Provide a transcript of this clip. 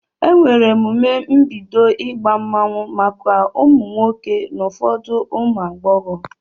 Emere emume mbido ịgba mmanwụ maka ụmụ nwoke na ụfọdụ ụmụ agbọghọ.